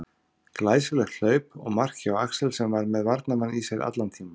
Glæsilegt hlaup og mark hjá Axel sem að var með varnarmann í sér allan tímann.